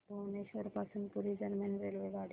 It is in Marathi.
भुवनेश्वर पासून पुरी दरम्यान रेल्वेगाडी